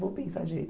Vou pensar direito.